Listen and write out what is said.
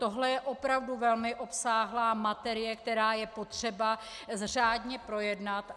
Tohle je opravdu velmi obsáhlá materie, kterou je potřeba řádně projednat.